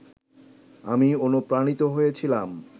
আমি অনুপ্রাণিত হয়েছিলাম